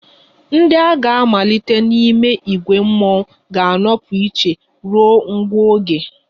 Ndị a ga-amalite n'ime ìgwè mmọnwụ ga-anọpụ iche ruo nwa oge